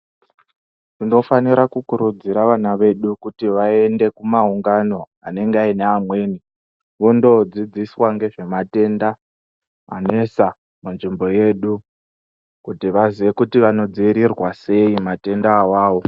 Tinofanira kukurudzira vana vedu kuti vaende kumaungano anenge aine amweni, vondodzidziswaa ngezvematendaa anesaa munzvimbo yedu kuti vazive kuti vanodziirirwaa sei matenda awawo.